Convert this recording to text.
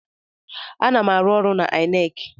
Ana m arụ ọrụ n'INEC.